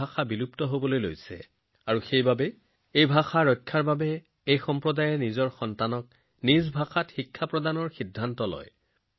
এই ভাষাটো বচাবলৈ লাহে লাহে নাইকিয়া হৈ আহিছিল যিটো এই মানুহে নিজৰ ভাষাত লৰাছোৱালীক পঢ়োৱাৰ সিদ্ধান্ত লৈছিল